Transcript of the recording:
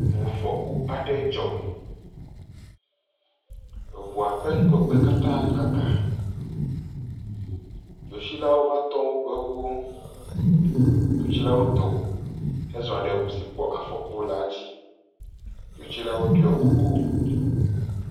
Ʋufɔku aɖe dzɔ eʋua ƒe ŋgɔgbe kata kaka dzotsilawo va tɔ woƒe ʋuwo dzotsilawo dò xe zɔ ɖe ʋu si kpɔ afɔku la dzi dzotsilawo ɖɔ kuku